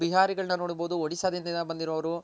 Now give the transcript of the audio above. ಬಿಹಾರಿಗಳ್ನ ನೋಡ್ಬೋದು ಓಡಿಸಾದಿಂದ ಬಂದಿರೋರು